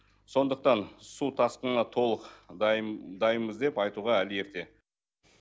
сондықтан су тасқынына толық дайынбыз деп айтуға әлі ерте